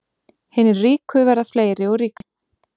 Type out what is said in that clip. Hinir ríku verða fleiri og ríkari